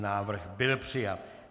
Návrh byl přijat.